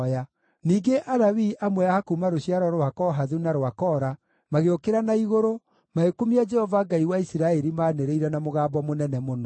Ningĩ Alawii amwe a kuuma rũciaro rwa Kohathu na rwa Kora magĩũkĩra na igũrũ, magĩkumia Jehova Ngai wa Isiraeli maanĩrĩire na mũgambo mũnene mũno.